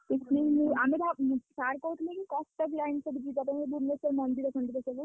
ଆମେ ଭାବି sir କହୁଥିଲେ କି କଟକ line ସବୁ ଯିବା ପାଇଁ ଭୁବନେଶ୍ବର ମନ୍ଦିର ଫନ୍ଦିର ସବୁ ଯିବା ପାଇଁ।